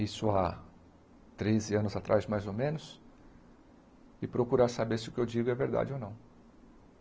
isso a treze anos atrás, mais ou menos, e procurar saber se o que eu digo é verdade ou não.